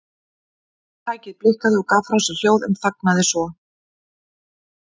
Tækið blikkaði og gaf frá sér hljóð en þagnaði svo.